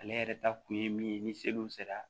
Ale yɛrɛ ta kun ye min ye ni seliw sera